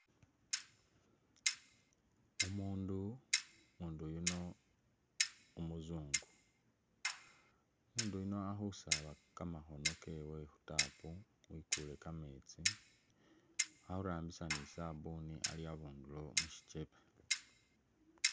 Umuundu, umuundu yuno umuzungu, umuundu yuno ali khusaaba kamakhono kewe wekuule i'tap ali khurambisa ni sabuni ali abundulo mu shichebe.